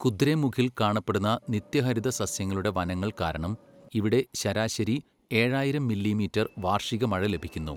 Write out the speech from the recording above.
കുദ്രേമുഖിൽ കാണപ്പെടുന്ന നിത്യഹരിത സസ്യങ്ങളുടെ വനങ്ങൾ കാരണം, ഇവിടെ ശരാശരി ഏഴായിരം മില്ലിമീറ്റർ വാർഷിക മഴ ലഭിക്കുന്നു.